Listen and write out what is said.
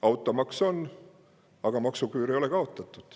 Automaks on, aga maksuküür ei ole kaotatud.